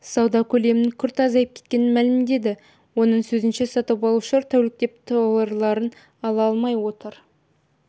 сауда көлемінің күрт азайып кеткенін мәлімдеді оның сөзінше сатып алушылар тәуліктеп тауарларын ала алмай отыр